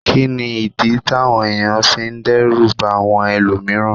Kí nìdí táwọn èèyàn fi ń dẹ́rù bà àwọn ẹlòmíràn